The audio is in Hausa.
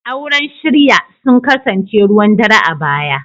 Auren shirya sun kasance ruwan dare a baya.